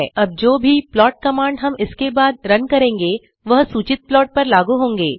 अब जो भी प्लॉट कमांड हम इसके बाद रन करेंगे वह चुनित प्लाट पर लागू होंगे